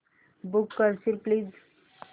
book करशील please